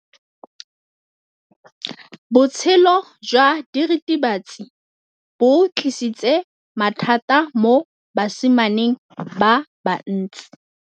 Botshelo jwa diritibatsi ke bo tlisitse mathata mo basimaneng ba bantsi.